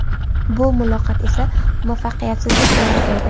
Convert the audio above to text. Bu muloqot esa muvaffaqiyatsizlik bilan tugaydi.